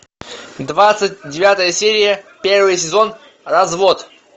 двадцать девятая серия первый сезон развод